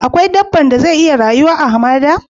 Akwai dabban da zai iya rayu a'hamada?